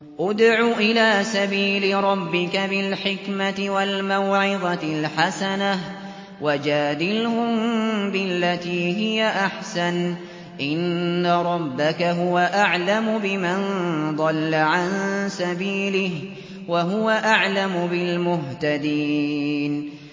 ادْعُ إِلَىٰ سَبِيلِ رَبِّكَ بِالْحِكْمَةِ وَالْمَوْعِظَةِ الْحَسَنَةِ ۖ وَجَادِلْهُم بِالَّتِي هِيَ أَحْسَنُ ۚ إِنَّ رَبَّكَ هُوَ أَعْلَمُ بِمَن ضَلَّ عَن سَبِيلِهِ ۖ وَهُوَ أَعْلَمُ بِالْمُهْتَدِينَ